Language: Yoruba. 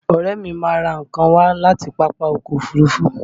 Ọ̀rẹ́ mi máa ń rà nǹkan wá láti Pápákọ̀ Òfurufú